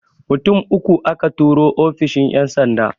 Mutum uku aka turo ofishin ƴan sanda